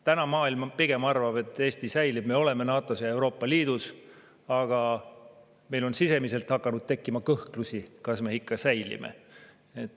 Täna maailm pigem arvab, et Eesti säilib, me oleme NATO-s ja Euroopa Liidus, aga meil on sisemiselt hakanud tekkima kõhklusi, kas me ikka säilime.